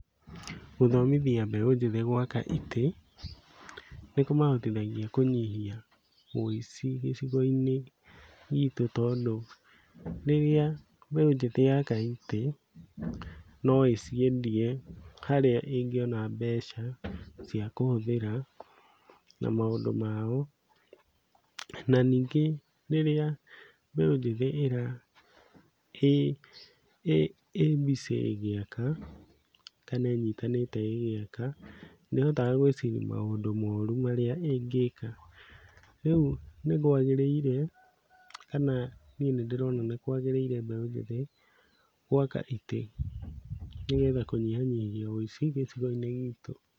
Gũthomithia mbeũ njĩthĩ gwaka itĩ, nĩkũmahotithagia kũnyihia wĩici gicigo-inĩ gitũ, tondũ rĩrĩa mbeũ njĩthĩ yaka itĩ, no ĩciendie harĩa ĩngĩona mbeca cia kũhũthĩra na maũndũ mao. Na, ningĩ rĩrĩa mbeũ njĩthĩ ĩra ĩ ĩ ĩ busy ĩgĩaka, kana ĩnyitanĩte ĩgĩaka, ndĩhotaga gwĩciria maũndũ moru marĩa ĩngĩka. Rĩu nĩkwagĩrĩire, kana niĩ nĩndĩrona nĩkwagĩrĩire mbeũ njĩthĩ gwaka itĩ, nĩgetha kũnyihanyihia wĩici gĩcigo-inĩ gitũ.